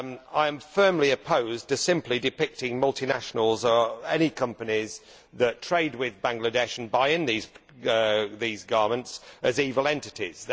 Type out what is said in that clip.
I am firmly opposed to simply depicting multinationals or any companies that trade with Bangladesh and buy in these garments as evil entities.